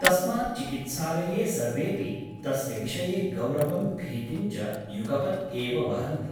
तस्मात् चिकित्सालये सर्वेऽपि तस्य विषये गौरवं भीतिं च युगपत् एव वहन्ति ।